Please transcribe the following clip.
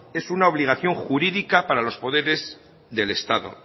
es una obligación jurídica para los poderes del estado